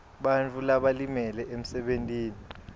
bantfu labalimele emsebentini